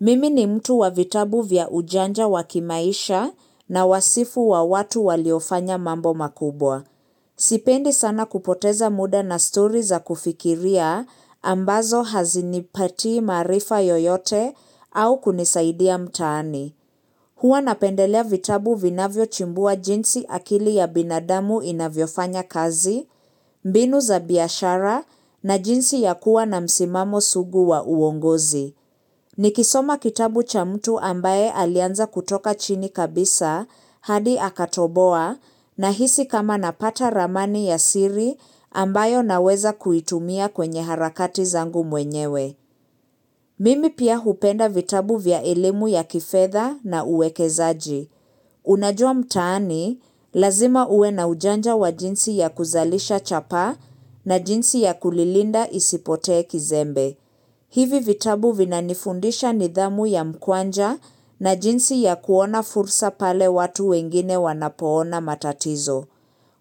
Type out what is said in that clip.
Mimi ni mtu wa vitabu vya ujanja wa kimaisha na wasifu wa watu waliofanya mambo makubwa. Sipendi sana kupoteza muda na story za kufikiria ambazo hazinipatii maarifa yoyote au kunisaidia mtaani. Huwa napendelea vitabu vinavyochambua jinsi akili ya binadamu inavyofanya kazi, mbinu za biashara na jinsi ya kuwa na msimamo sugu wa uongozi. Nikisoma kitabu cha mtu ambaye alianza kutoka chini kabisa hadi akatoboa nahisi kama napata ramani ya siri ambayo naweza kuitumia kwenye harakati zangu mwenyewe. Mimi pia hupenda vitabu vya elimu ya kifedha na uwekezaji. Unajua mtaani, lazima uwe na ujanja wa jinsi ya kuzalisha chapaa na jinsi ya kulilinda isipotee kizembe. Hivi vitabu vinanifundisha nidhamu ya mkwanja na jinsi ya kuona fursa pale watu wengine wanapoona matatizo.